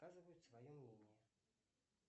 доказывает свое мнение